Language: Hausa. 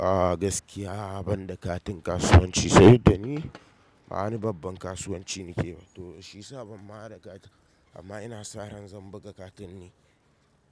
A'a gaskiya ban da katin kasuwanci, saboda ni ba wani babban kasuwanci nake ba, to shiyasa ban ma da katin. Amma ina sa ran zan buga katin din.